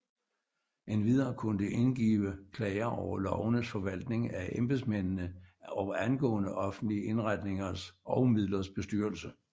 Endvidere kunne det indgive klager over lovenes forvaltning af embedsmændene og angående offentlige indretningers og midlers bestyrelse